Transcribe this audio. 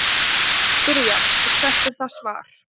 Þá má spyrja: Og hvert er það svar?.